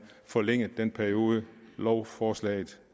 forlænget den periode lovforslaget